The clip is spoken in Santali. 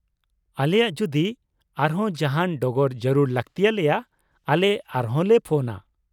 ᱟᱞᱮᱭᱟᱜ ᱡᱩᱫᱤ ᱟᱨᱦᱚᱸ ᱡᱟᱦᱟᱸᱱ ᱰᱚᱜᱚᱨ ᱡᱟᱹᱨᱩᱲ ᱞᱟᱠᱛᱤᱭᱟᱞᱮᱭᱟ , ᱟᱞᱮ ᱟᱨ ᱦᱚᱸᱞᱮ ᱯᱷᱚᱱᱼᱟ ᱾